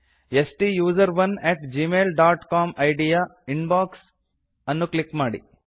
ಸ್ಟುಸೆರೋನ್ at Gmail dot COM ID ಯ inbox ಅನ್ನು click ಮಾಡಿ